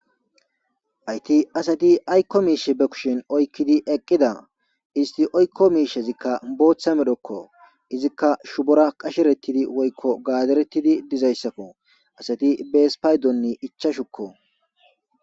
Hayti asati aykko miishe be kushin oykkidi eqqida isti oykko miishezikka booththa medokko izikka shubora qasherettidi woykko gaaderettidi dizayssakko asati bees paydonni icha shukko.